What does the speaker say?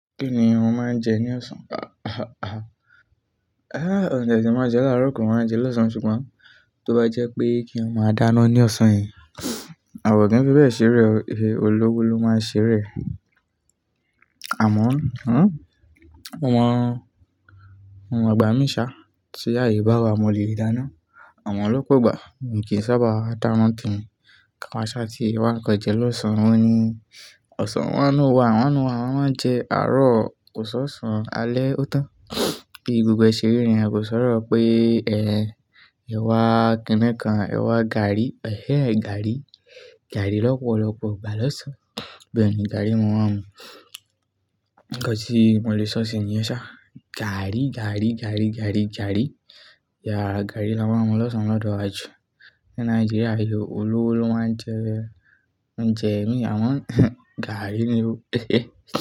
Kí ni àwọn máa ń jẹ ní ọ̀sán? Ẹ̀sẹ̀ máa jẹ láàárọ̀, kò máa ń jẹ lọ́sàn-án, ṣùgbọ́n tó bá jẹ́ pé kí a máa dáná ní ọ̀sán yìí, àwọn tí ń fi bẹ́ẹ̀ ṣeré, olówó ló máa ń ṣeré. Àmọ́, àwọn ọgbà mí ṣá, tí áye bá wa, mo lè dáná. Àwọn ló kò gbà. Èmi kì í sábà dá wọn tán. Kí a máa ṣá tí wá kọ jẹ lọ́sàn-án ni. Ọ̀sán wọnú wa, wọnú wa, wọ́n máa ń jẹ àárọ̀, kò sọ́ṣọ̀ alẹ́ ó tán. Bí gbogbo ẹṣẹ̀ rí ni, a kò sọ́rọ̀ pé ẹ̀, ẹ wá kìn-ín-kan, ẹ wá gààrí. Ẹ̀hẹ́n, gààrí. Gààrí lọ́pọ̀lọ́pọ̀ gbà lọ́sàn-án. Bí ẹ ni gààrí máa wá mú. Gẹ́gẹ́ bí mo lè sọ sí ẹ ní ọ̀sán, gààrí, gààrí, gààrí, gààrí, gààrí. Ya, gààrí máa wá mú lọ́sàn-án lọ́dọ́ wá ju ni naijiriya yìí, olówó ló máa ń jẹ ẹ. Jẹ́ ẹni àwọn gààrí ni ó tẹ́ ẹ.